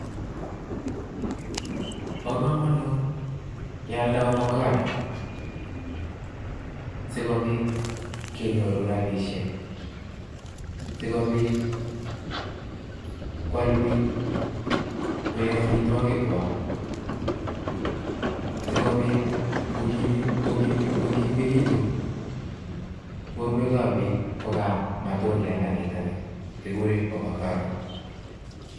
Bo komonut kyalda avocado, sikobit kenyoru rabisiek, sikobit koyal bik koek amitwokik kwak, sikobit kokimekitun borwek ab bik kokayam matundiat ndanitani kikuren avocado.